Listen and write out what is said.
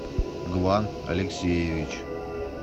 глан алексеевич